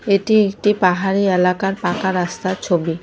এটি একটি পাহাড়ি এলাকার পাকা রাস্তার ছবি।